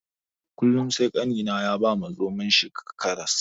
Kullum sai ƙanina ya ba zomon shi karas.